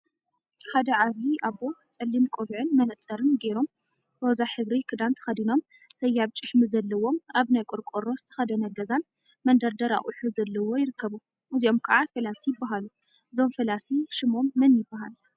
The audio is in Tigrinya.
ሓደ ዓብይ አቦ ፀሊም ቆቢዕን መነፀርን ገይሮም ሮዛ ሕብሪ ክዳን ተከዲኖም ሰያብ ጭሕሚ ዘለዎም አብ ናይ ቆርቆሮ ዝተከደነ ገዛን መንደርደር አቁሑ ዘለዎ ይርከቡ፡፡ እዚኦም ከዓ ፈላሲ ይበሃሉ፡፡ እዞም ፈላሲ ሽሞም መን ይበሃል?